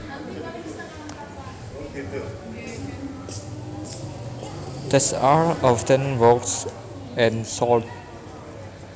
These are often bought and sold